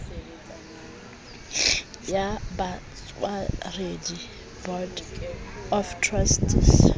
ya batshwaredi board of trustees